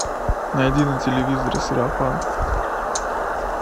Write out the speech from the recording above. найди на телевизоре сарафан